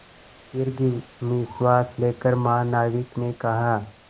दीर्घ निश्वास लेकर महानाविक ने कहा